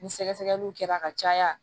Ni sɛgɛsɛgɛliw kɛra a ka caya